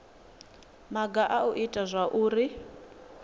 maga a u ita zwauri